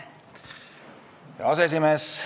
Hea aseesimees!